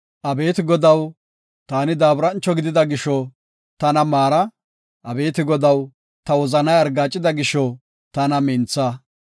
Abeeti Godaw, taani daaburancho gidida gisho tana maara; abeeti Godaw, ta wozanay argaacida gisho tana mintha.